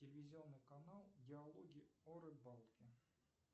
телевизионный канал диалоги о рыбалке